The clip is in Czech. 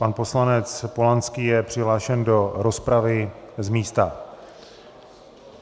Pan poslanec Polanský je přihlášen do rozpravy z místa.